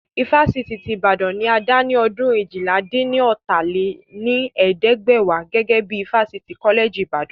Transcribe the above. Ifásitì ti Ìbàdàn ni a dá ní ọdún eéjìlá-dín-ní-ọ́ta lé ní ẹ̀ẹ́dẹ́gbẹ́wá gẹ́gẹ́ bí ifásitì kọ́lẹ̀jì Ìbàdàn